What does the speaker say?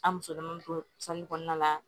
An musoman don kɔnɔna la